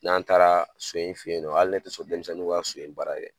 N'an taara so in fe yen dɔ hali ne te so denmisɛnnin ŋa so in baara yɛ